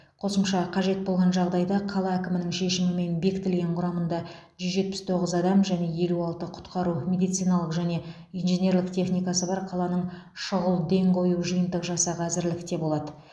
қосымша қажет болған жағдайда қала әкімінің шешімімен бекітілген құрамында жүз жетпіс тоғыз адам және елу алты құтқару медициналық және инженерлік техникасы бар қаланың шұғыл ден қою жиынтық жасағы әзірлікте болады